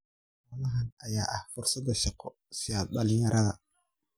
Xoolaha nool ayaa fursad shaqo siiya dhalinyarada.